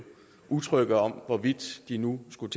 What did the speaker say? utrygge om hvorvidt de nu skulle